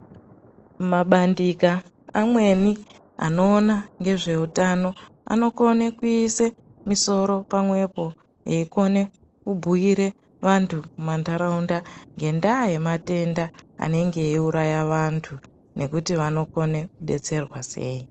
Mabandika amweni anoona ngezveutano anokone kuise misoro pamwepo eikone kubhuire vantu mumantaraunda ngendaya yematenda anenge eiuraya vantu nekuti vanokone kudetserwa sei.